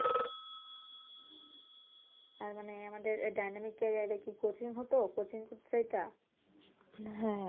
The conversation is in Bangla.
তার মানে আমাদের dynamic career কি coaching হতো